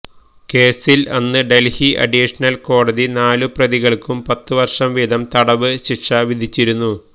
കേസില് അന്ന് ഡല്ഹി അഡീഷണല് കോടതി നാലു പ്രതികള്ക്കും പത്തു വര്ഷം വീത് തടവ് ശിക്ഷ വിധിച്ചിരുന്നു